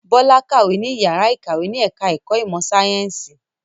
Bọ́lá kàwé ní ìyàrá-ìkàwé ní ẹ̀ka-ẹ̀kọ́ ìmọ̀-sáyẹ́ńsì.